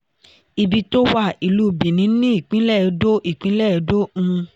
ile-iṣẹ iná mọ̀nàmọ́ná ihovbor um jẹ ile-iṣẹ ẹlẹ́rọ gáàsì fún ccgt.